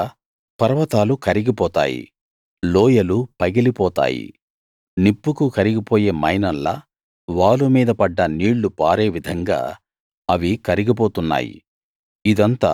ఆయన కింద పర్వతాలు కరిగిపోతాయి లోయలు పగిలిపోతాయి నిప్పుకు కరిగిపోయే మైనంలా వాలు మీద పడ్డ నీళ్ళు పారే విధంగా అవి కరిగిపోతున్నాయి